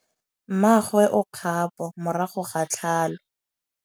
Mmagwe o kgapô morago ga tlhalô.